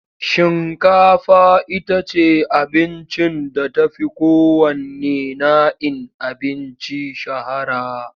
Shinkafa ita ce abincin da ta fi kowanne na'in abinci shahara.